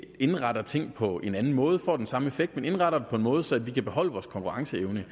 indretter ting på en anden måde får den samme effekt men indretter det på en måde så vi kan beholde vores konkurrenceevne